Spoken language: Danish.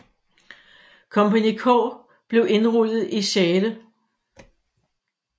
Kompagni K blev indrulleret i 6